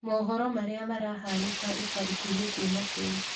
mohoro maria marahanika ica ikuhĩ kuuma kũũ